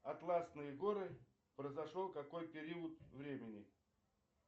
атласные горы произошел какой период времени